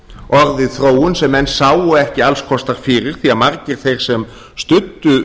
orðið þróun sem menn sáu ekki alls kostar fyrir því margir þeir sem studdu